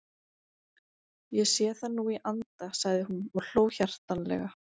Ég sé það nú í anda sagði hún og hló hjartanlega.